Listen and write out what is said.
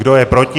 Kdo je proti?